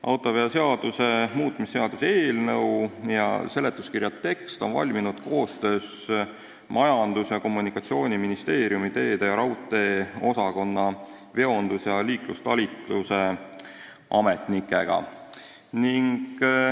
Autoveoseaduse muutmise seaduse eelnõu ja seletuskirja tekst on valminud koostöös Majandus- ja Kommunikatsiooniministeeriumi teede- ja raudteeosakonna veondus- ja liiklustalituse ametnikega.